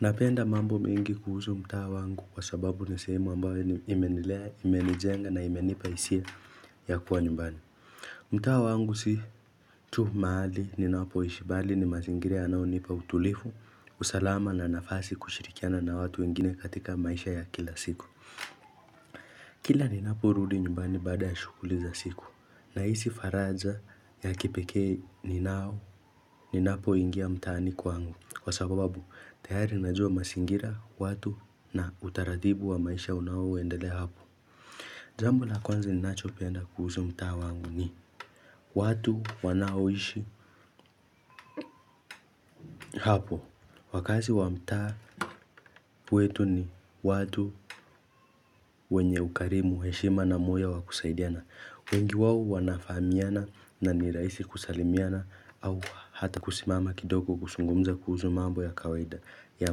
Napenda mambo mengi kuhusu mtaa wangu kwa sababu ni sehemu ambayo imenilea imenijenga na imenipa hisia ya kuwa nyumbani. Mtaa wangu si tu mahali ninapoishi bali ni mazingira yanayonipa utulivu, usalama na nafasi kushirikiana na watu wengine katika maisha ya kila siku. Kila ninapurudi nyumbani baada ya shughuli za siku nahisi faraja ya kipekee ninao ninapoingia mtaani kwangu. Kwa sababu, tayari najua mazingira, watu na utaratibu wa maisha unaoendelea hapo. Jambo la kwanza ninachopenda kuhusu mtaa wangu ni watu wanaoishi hapo. Wakazi wa mtaa wetu ni watu wenye ukarimu heshima na moyo wa kusaidiana. Wengi wao wanafahamiana na nirahisi kusalimiana au hata kusimama kidogo kuzungumza kuhusu mambo ya kawaida ya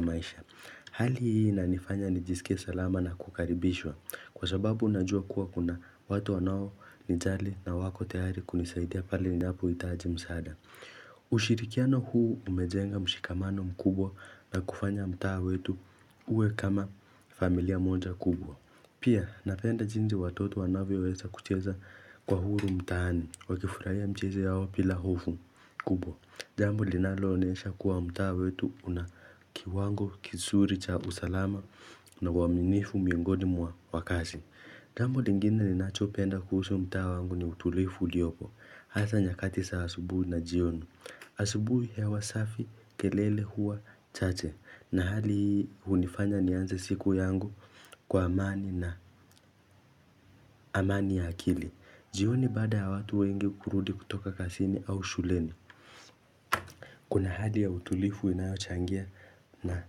maisha. Hali hii inanifanya nijisikie salama na kukaribishwa kwa sababu unajua kuwa kuna watu wanao nijali na wako tayari kunisaidia pale ninapohitaji msaada. Ushirikiano huu umejenga mshikamano mkubwa na kufanya mtaa wetu uwe kama familia moja kubwa. Pia napenda jinsi watoto wanavyoweza kucheza kwa huru mtaani wakifurahia mchezo yao bila hofu kubwa jambo linaloonyesha kuwa mtaa wetu una kiwango kizuri cha usalama na waaminifu miongoni mwa wakaazi jambo lingine ninachopenda kuhusu mtaa wangu ni utulifu uliopo Hasa nyakati za asubuhi na jioni asubuhi hewa safi kelele huwa chache na hali hunifanya nianze siku yangu kwa amani na amani ya akili jioni baada ya watu wengi kurudi kutoka kazini au shuleni Kuna hali ya utulivu inayochangia na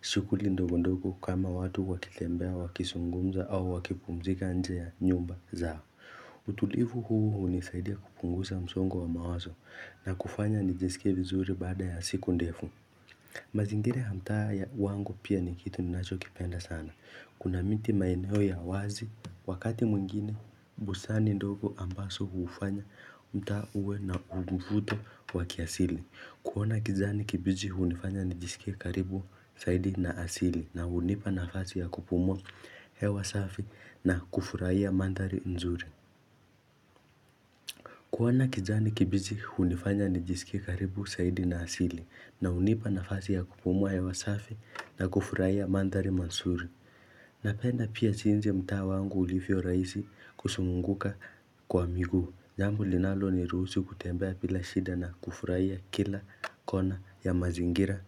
shughuli ndogondogo kama watu wakitembea wakizungumza au wakipumzika nje ya nyumba zao utulifu huu hunisaidia kupunguza msongo wa mawazo na kufanya nijisikie vizuri baada ya siku ndefu mazingira ya mtaa wangu pia ni kitu ninachokipenda sana Kuna miti maeneo ya wazi, wakati mwingine, busani ndogo ambazo hufanya mtaa uwe na mvuto wa kiasili. Kuona kijani kibichi hunifanya nijisikie karibu zaidi na asili na hunipa nafasi ya kupumua hewa safi na kufurahia mandhari nzuri. Kuona kijani kibichi hunifanya nijisikie karibu zaidi na asili na hunipa nafasi ya kupumua hewa safi na kufurahia mandhari mazuri. Napenda pia jinsi mtaa wangu ulivyorahisi kuzunguka kwa miguu jambo linaloniruhusu kutembea bila shida na kufurahia kila kona ya mazingira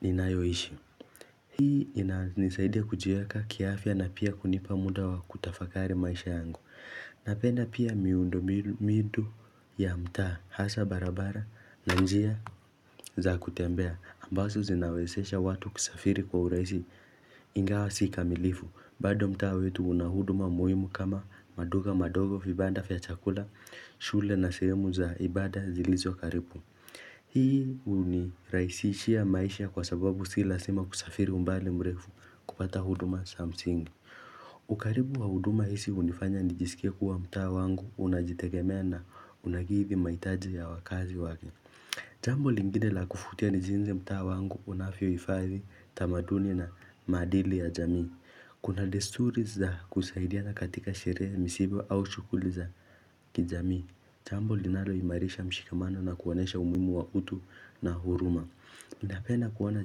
ninayishi Hii ina nisaidia kujiweka kiafya na pia hunipa muda wa kutafakari maisha yangu Napenda pia miundombinu ya mtaa hasa barabara na njia za kutembea ambazo zinawezesha watu kusafiri kwa urahisi ingawa si kamilifu bado mtaa wetu unahuduma muhimu kama maduka madogo vibanda vya chakula shule na sehemu za ibada zilizo karibu Hii hunirahisishia maisha kwa sababu si lazima kusafiri umbali mrefu kupata huduma za msingi ukaribu wa huduma hizi hunifanya nijisikie kuwa mtaa wangu unajitegemea na unakidi mahitaji ya wakaazi wake Jambo lingine la kuvutia ni jinsi mtaa wangu unavyohifaidhi, tamaduni na maadili ya jamii. Kuna desturi za kusaidiana katika sherehe misiba au shughuli za kijamii. Jambo linaloimarisha mshikamano na kuonyesha umuhimu wa utu na huruma. Napenda kuona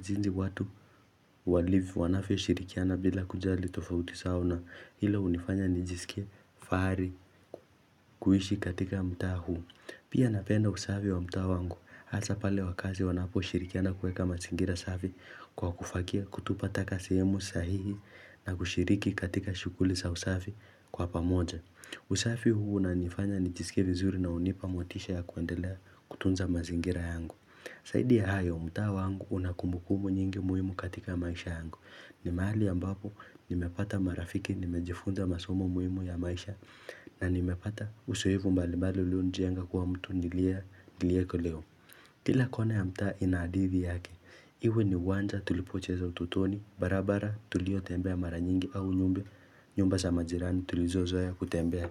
jinsi watu walivyo wanavyoshirikiana bila kujali tofauti zao na hilo hunifanya nijisikie fahari kuishi katika mtaa huu. Pia napenda usafi wa mtaa wangu, hasa pale wakaazi wanaposhirikiana kueka mazingira safi kwa kufagia, kutupa taka sehemu sahihi na kushiriki katika shughuli za usafi kwa pamoja. Usafi huu unanifanya nijisikie vizuri na hunipa motisha ya kuendelea kutunza mazingira yangu. Zaidi ya hayo, mtaa wangu una kumbukumu nyingi muhimu katika maisha yangu. Ni mahali ambapo nimepata marafiki, nimejifunza masomo muhimu ya maisha na nimepata uzoevu mbalimbali ulionijenga kuwa mtu nilieko leo. Kila kona ya mtaa ina hadithi yake, iwe ni uwanja tulipocheza utotoni, barabara tuliotembea mara nyingi au nyumba, nyumba za majirani tulizozoea kutembea.